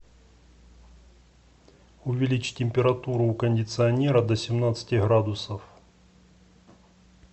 увеличить температуру у кондиционера до семнадцати градусов